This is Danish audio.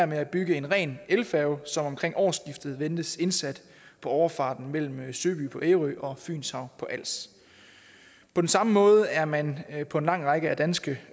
med at bygge en ren elfærge som omkring årsskiftet ventes indsat på overfarten mellem søby på ærø og fynshav på als på samme måde er man på en lang række danske